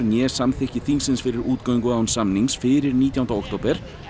né samþykki þingsins fyrir útgöngu án samnings fyrir nítjánda október